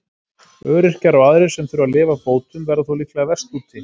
Öryrkjar og aðrir sem þurfa að lifa af bótum verða þó líklega verst úti.